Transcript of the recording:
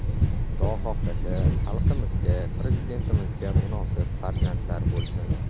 Xudo xohlasa, xalqimizga, Prezidentimizga munosib farzandlar bo‘lsin”.